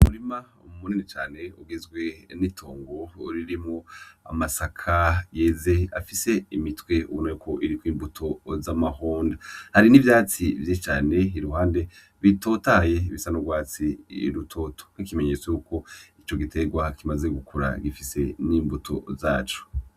Umurima munini cane ugizwe n'itongo ririmwo amasaka yeze afise imitwe urureko iriko imbuto z'amahome, hari n'ivyatsi vyinshi cane iruhande bitotaye bisa n'urwatsi rutoto, nk'ikimenyetso yuko ico giterwa kimaze gukura gifise n'imbuto zaco.